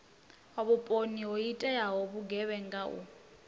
vhuponi ho iteaho vhugevhenga u